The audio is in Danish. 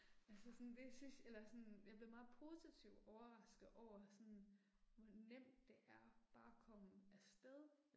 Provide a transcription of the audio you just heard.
Altså sådan det synes, eller sådan, jeg blev meget positivt overrasket over sådan, hvor nemt det er bare at komme afsted